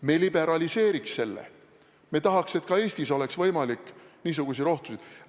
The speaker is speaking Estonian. Me liberaliseeriks selle, me tahaks, et ka Eestis oleks võimalik niisuguseid rohtusid poest osta.